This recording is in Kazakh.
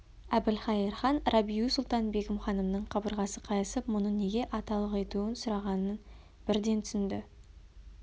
әбілқайыр хан рабиу-сұлтан-бегім ханымның қабырғасы қайысып мұны неге аталықетуін сұрағанын бірден түсінді